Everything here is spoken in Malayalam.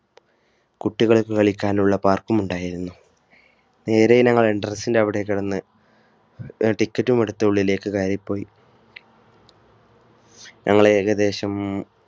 കുട്ടികൾക്ക് കളിക്കാനുള്ള Park മുണ്ടായിരുന്നു. നേരെ ഞങ്ങൾ entrance ന്റെ അവിടെ കടന്ന് tiket ഉം എടുത്ത് ഉള്ളിലേക്ക് കയറി പോയി ഞങ്ങൾ ഏകദേശം